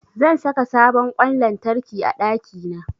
Zan saka sabon ƙwan lantarki a ɗakina.